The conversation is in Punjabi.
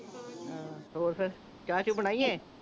ਹਾਂ ਹੋਰ ਫੇਰ ਚਾਹ ਚੁ ਬਣਾਈਏ